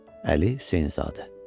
Əli Hüseynzadə.